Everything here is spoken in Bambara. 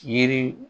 Yiri